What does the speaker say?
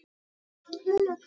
Hvar fæst talkúm?